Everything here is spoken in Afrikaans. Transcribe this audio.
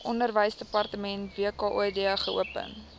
onderwysdepartement wkod geopen